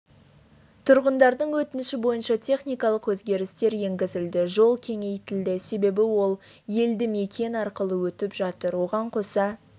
тұрғындардың өтініші бойынша техникалық өзгерістер енгізілді жол кеңейтілді себебі ол елдімекен арқылы өтіп жатыр оған қоса